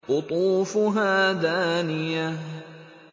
قُطُوفُهَا دَانِيَةٌ